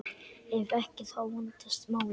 Ef ekki, þá vandast málin.